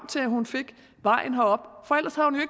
til at hun gik vejen herop